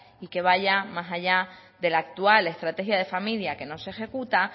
y que vayan más allá de la actual estrategia de familia que no se ejecuta